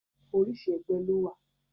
Orísìí ẹgbẹ́ ló wà.